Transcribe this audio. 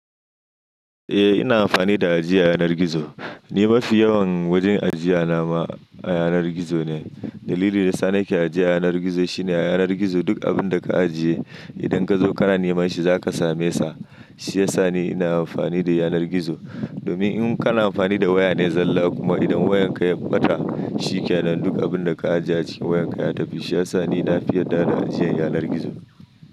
Eh ina amfani da aji a yanar gizo. Ni mafi yawan wajen ajiye nama a yanar gizo ne. Dalilin da sa ni ke ajiye a yanar gizo shine a yanar gizo duk abun da ka ajiye idan ka zo ka na neman shi za ka same sa. Shi ya sa ni ina amfani da yanar gizo. Domin in ka na amfani da waya ne zalla kuma idan wayan ka ya ɓata, shi ke nan duk abun da ka ajiye a cikin wayan ka ya tafi. Shi ya sa ni na fi yarda da ajiyan yanar gizo.